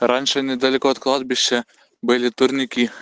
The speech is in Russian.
раньше недалеко от кладбища были турники